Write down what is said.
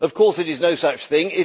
Of course, it is no such thing